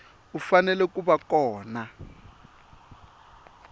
u fanele ku va kona